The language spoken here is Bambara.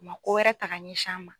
Ko wɛrɛ kana ɲɛsin a ma.